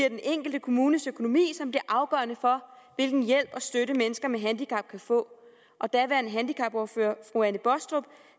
den enkelte kommunes økonomi som bliver afgørende for hvilken hjælp og støtte mennesker med handicap kan få daværende handicapordfører fru anne baastrup